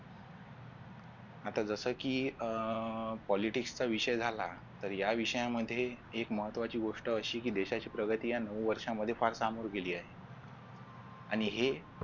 आता जस की अह politics चा विषय झाला तर या विषयांमध्ये एक महत्त्वाची गोष्ट अशी की देशाची प्रगती या दोन वर्षांमध्ये फार सांगून गेले आहे आणि हे